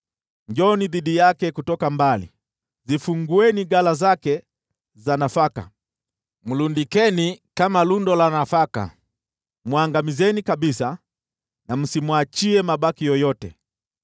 Njooni dhidi yake kutoka mbali. Zifungueni ghala zake za nafaka; mlundikeni kama lundo la nafaka. Mwangamizeni kabisa na msimwachie mabaki yoyote.